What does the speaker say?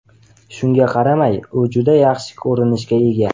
Shunga qaramay, u juda yaxshi ko‘rinishga ega.